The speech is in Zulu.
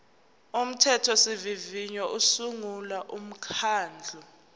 umthethosivivinyo usungula umkhandlu